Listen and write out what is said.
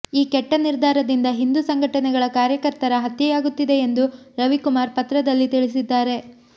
ಈ ಕೆಟ್ಟ ನಿರ್ಧಾರದಿಂದ ಹಿಂದೂ ಸಂಘಟನೆಗಳ ಕಾರ್ಯಕರ್ತರ ಹತ್ಯೆಯಾಗುತ್ತಿದೆ ಎಂದು ರವಿಕುಮಾರ್ ಪತ್ರದಲ್ಲಿ ತಿಳಿಸಿದ್ದಾರೆ